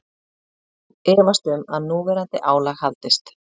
Efast um að núverandi álag haldist